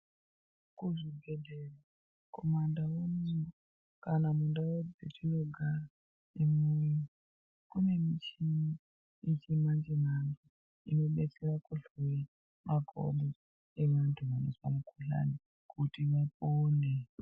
Muzvibhedhlera kumandau unono, kana mundau dzatinogara ineyi kunemuchini yechirungu inodetsera kuhloya makodo eanhu anozwa mukhuhlani kuti apone.